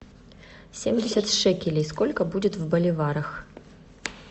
семьдесят шекелей сколько будет в боливарах